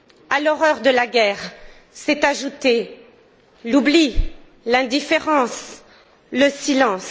À l'horreur de la guerre se sont ajoutés l'oubli, l'indifférence, le silence.